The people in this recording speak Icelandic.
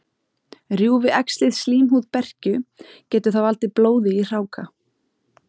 Rjúfi æxlið slímhúð berkju, getur það valdið blóði í hráka.